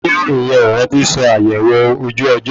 Oníròyìn yẹn ò rántí sọ àyẹwò ojú ọjọ́